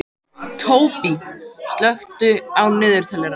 Tóbý, slökktu á niðurteljaranum.